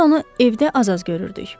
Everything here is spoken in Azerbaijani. Biz onu evdə az-az görürdük.